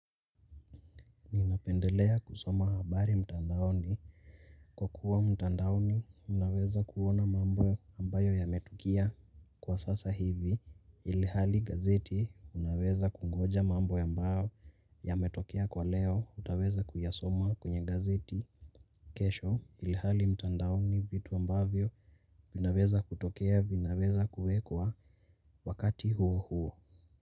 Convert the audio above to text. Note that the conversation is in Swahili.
Unapendelea kusoma habari mtandaoni. Kwa kuwa mtandaoni, unaweza kuona mambo ambayo yametukia. Kwa sasa hivi, ilhali gazeti, unaweza kungoja mambo ambayo yametokea kwa leo, utaweza kuyasoma kwenye gazeti. Kesho, ilhali mtandaoni vitu ambavyo, vinaweza kutokea, vinaweza kuekwa wakati huo huo.